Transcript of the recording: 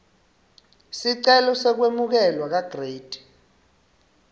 sicelo sekwemukelwa kagrade